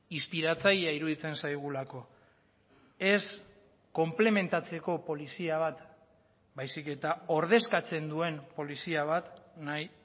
inspiratzailea iruditzen zaigulako ez konplementatzeko polizia bat baizik eta ordezkatzen duen polizia bat nahi